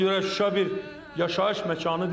Ona görə Şuşa bir yaşayış məkanı deyil.